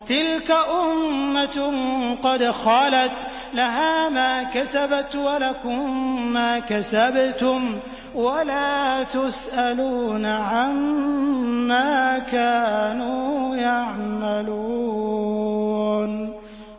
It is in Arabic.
تِلْكَ أُمَّةٌ قَدْ خَلَتْ ۖ لَهَا مَا كَسَبَتْ وَلَكُم مَّا كَسَبْتُمْ ۖ وَلَا تُسْأَلُونَ عَمَّا كَانُوا يَعْمَلُونَ